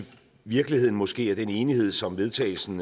virkeligheden måske at den enighed som vedtagelsen